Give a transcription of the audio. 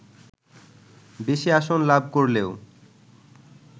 বেশি আসন লাভ করলেও